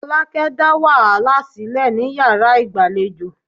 Folake dá wàhálà sílẹ̀ ní yàrá ìgbàlejò.